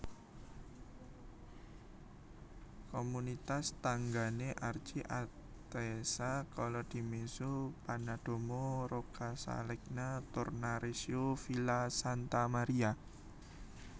Komunitas tanggané Archi Atessa Colledimezzo Pennadomo Roccascalegna Tornareccio Villa Santa Maria